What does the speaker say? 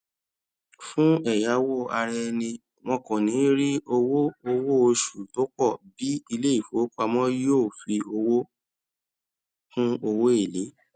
fún ẹyáwó araẹni wọn kò níí rí owó owó oṣù tó pọ bí iléìfowópamọ yóò fi owó kún owó èlé